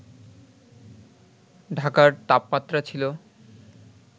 ঢাকার তাপমাত্রা ছিল